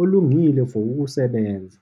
olungile for ukusebenza.